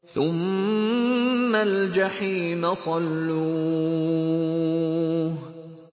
ثُمَّ الْجَحِيمَ صَلُّوهُ